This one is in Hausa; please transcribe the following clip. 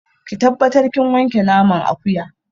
Ki tabbatar kin wanke naman akuya